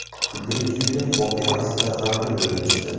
Kulgili tuyulgan voqea aslida g‘amgin bo‘lib chiqdi.